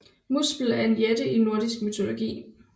Muspel er en jætte i nordisk mytologi